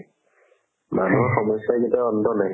মানুহৰ সমস্যাৰ কেতিয়াও অন্ত নাই